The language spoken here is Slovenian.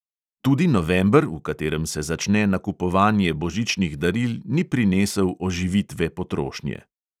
Tudi november, v katerem se začne nakupovanje božičnih daril, ni prinesel oživitve potrošnje.